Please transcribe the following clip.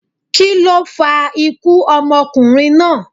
kíló fa ikú ọmọkunrin naa?